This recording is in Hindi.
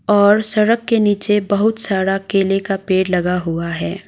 और सड़क के नीचे बहुत सारा केले का पेड़ लगा हुआ है।